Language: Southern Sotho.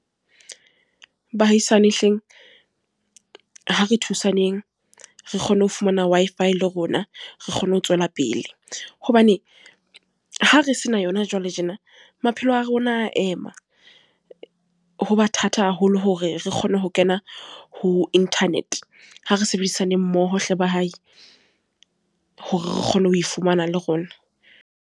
Bahaisane hleng ha re thusaneng, re kgone ho fumana Wi-FI le rona re kgone ho tswela pele, hobane ha re se na yona jwale tjena, maphelo le wa rona ema. Ho ba thata haholo hore re kgone ho kena ho Internet ha re sebedisane mmoho hle ba hae hore re kgone ho fumana le rona.